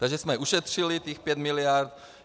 Takže jsme ušetřili těch pět miliard.